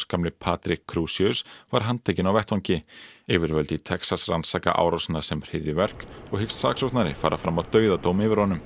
gamli Patrick Crusius var handtekinn á vettvangi yfirvöld í Texas rannsaka árásina sem hryðjuverk og hyggst saksóknari fara fram á dauðadóm yfir honum